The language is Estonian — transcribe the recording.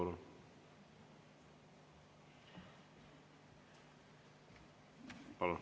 Palun!